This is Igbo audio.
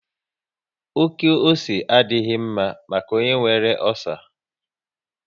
Oké ose adịghị mma maka onye nwere ọcer